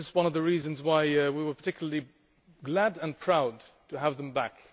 This is one of the reasons why we were particularly glad and proud to have them back.